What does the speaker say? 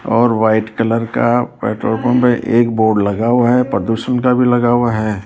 और white colour का petrol pump एक बोर्ड लगा हुआ है प्रदूषण का भी लगा हुआ है।